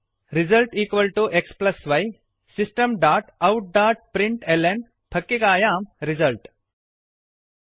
result xy system dot out dot println फक्किकायां result system